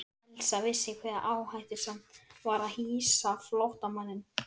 Elsa vissi hve áhættusamt var að hýsa flóttamanninn.